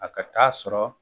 A ka t'a sɔrɔ